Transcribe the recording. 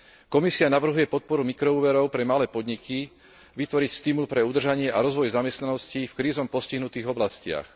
Komisia navrhuje podporu mikroúverov pre malé podniky, vytvoriť stimul pre udržanie a rozvoj zamestnanosti v krízou postihnutých oblastiach.